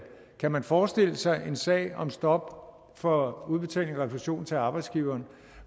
kan man forestille sig en sag om stop for udbetaling af refusion til arbejdsgiveren